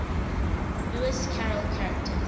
lewis carroll characters